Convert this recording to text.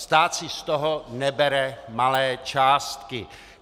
Stát si z toho nebere malé částky.